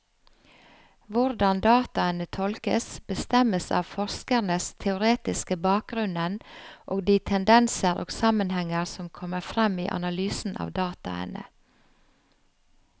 Hvordan dataene tolkes, bestemmes av forskerens teoretiske bakgrunnen og de tendenser og sammenhenger som kommer frem i analysen av dataene.